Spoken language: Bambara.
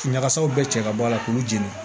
Ɲagasaw bɛɛ cɛ ka bɔ a la k'u jeni